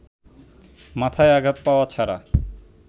মাথায় আঘাত পাওয়া ছাড়া